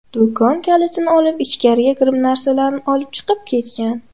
Do‘kon kalitini olib, ichgariga kirib narsalarni olib chiqib ketgan.